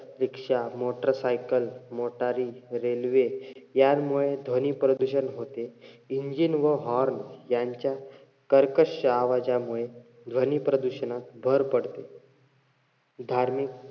रिक्षा, motorcycle, मोटारी, railway यांमुळे ध्वनी प्रदूषण होते. engine व horn यांच्या कर्कश्श आवाजामुळे ध्वनी प्रदूषणात भर पडते. धार्मिक,